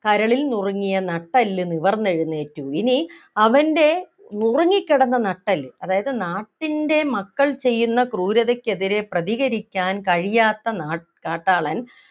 കരളിൽ നുറുങ്ങിയ നട്ടെല്ലു നിവർന്നെഴുന്നേറ്റു ഇനി അവൻ്റെ ഉറങ്ങിക്കിടന്ന നട്ടെല്ല് അതായത് നാട്ടിൻ്റെ മക്കൾ ചെയ്യുന്ന ക്രൂരതക്കെതിരെ പ്രതികരിക്കാൻ കഴിയാത്ത നാ കാട്ടാളൻ